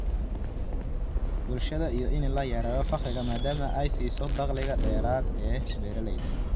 bulshada iyo in la yareeyo faqriga, maadaama ay siiso dakhli dheeraad ah beeralayda.